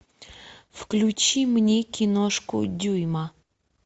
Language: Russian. включи мне киношку дюйма